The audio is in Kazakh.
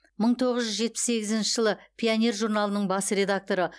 мың тоғыз жүз жетпіс сегізінші жылы пионер журналының бас редакторы